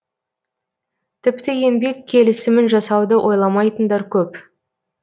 тіпті еңбек келісімін жасауды ойламайтындар көп